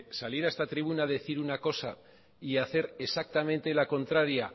salir a esta tribuna a decir una cosa y hacer exactamente la contraria